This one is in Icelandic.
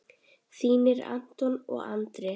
Þínir Anton og Andri.